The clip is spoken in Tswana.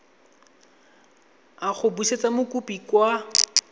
a go busetsa mokopi kwa